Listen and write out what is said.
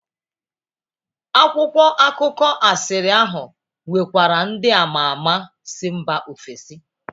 Akwụkwọ akụkọ asịrị ahụ nwekwara ndị ama ama si mba ofesi.